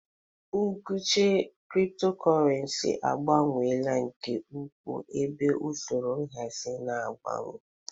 Nkuchi Cryptocurrency abawanyela nke ukwuu, ebe usoro nhazi na-agbanwe.